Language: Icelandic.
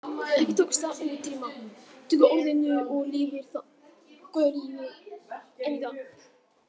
Ekki tókst að útrýma tökuorðinu og lifir það góðu lífi enn í dag.